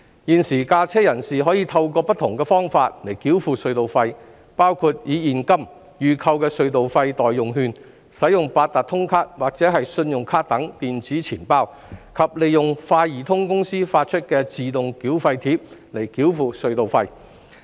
現時駕車人士可透過不同的方法繳付隧道費，包括以現金、預購的隧道費代用券、八達通卡或信用卡等電子錢包，以及利用快易通公司發出的自動繳費貼來繳付隧道費。